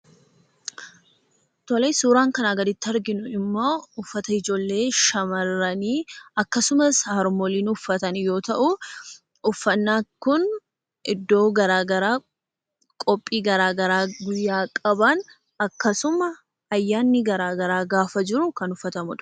Suuraan asii gaditti arginu ammoo uffata ijoollee shamarranii akkasumas harmooliin uffatan yoo ta'u, uffannaan kun iddoo gara garaa Fi qophii gara garaa guyyaa qaban akkasuma ayyaanni garaa garaa gaafa jiru kan uffatamudha.